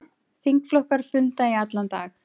Þingflokkar funda í allan dag